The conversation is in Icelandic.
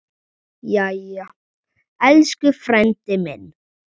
Jæja, elsku frændi minn.